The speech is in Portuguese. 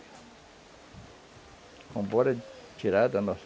Vamos embora de tirar da nossa...